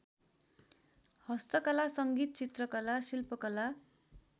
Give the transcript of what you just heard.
हस्तकला सङ्गीत चित्रकला शिल्पकला